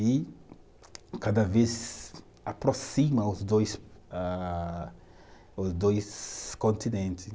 E cada vez aproxima os dois ah, os dois continente